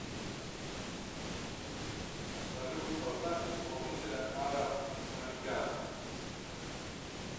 салют поставь исполнителя ара маликян